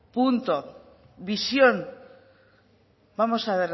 punto visión vamos a